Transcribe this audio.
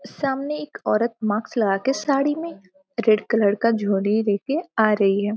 सामने एक औरत मास्क लगा के साड़ी में रेड कलर का झोली ले के आ रही है।